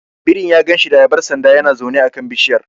Birin ya ganshi da ayabar sanda yana zaune a kan bishiyar.